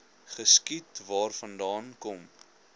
geskiet waarvandaan kom